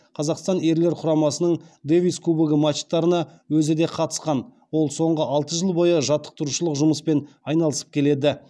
қазақстан ерлер құрамасының дэвис кубогы матчтарына өзі де қатысқан ол соңғы алты жыл бойы жаттықтырушылық жұмыспен айналысып келеді